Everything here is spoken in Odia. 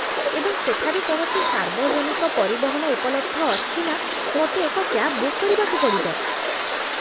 ଏବଂ ସେଠାରେ କୌଣସି ସାର୍ବଜନିକ ପରିବହନ ଉପଲବ୍ଧ ଅଛି ନା ମୋତେ ଏକ କ୍ୟାବ ବୁକ୍ କରିବାକୁ ପଡ଼ିବ?